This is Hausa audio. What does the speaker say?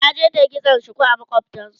taje ta yi kitson shuku a makwaftansu